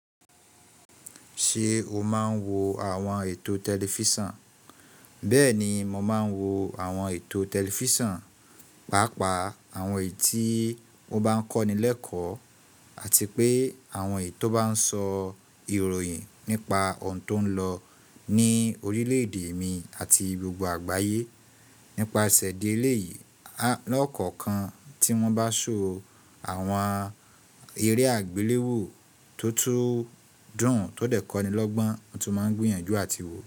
Ṣé o máa ń wo àwọn ètò tẹlifíṣàn? Bẹ́ẹ̀ni mo máa ń wo àwọn ètò tẹlifíṣàn, pàápàá àwọn èyí tí ó bá ń kọ́ni lẹ́kọ̀ọ́ àti pé àwọn èyí tó bá ń sọ ìròyìn nípa ohun tó ń lọ ní orílẹ̀-èdè mi àti gbogbo àgbáyé. Nípasẹ̀ idi eléyìí, lọ́kọ̀ọ̀kan tí wọ́n bá so àwọn eré àgbéléwò tó tún dùn tó dẹ̀ kọ́ni lọ́gbọ́n, mo tun máa ń gbìyànjú àti wò.